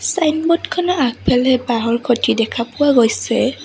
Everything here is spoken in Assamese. ছাইনবোৰ্ড খনৰ আগফালে বাঁহৰ খুঁটি দেখা পোৱা গৈছে।